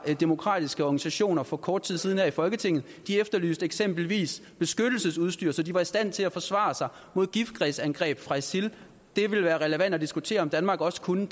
for demokratiske organisationer for kort tid siden her i folketinget de efterlyste eksempelvis beskyttelsesudstyr så de var i stand til at forsvare sig mod giftgasangreb fra isil det ville være relevant at diskutere om danmark også kunne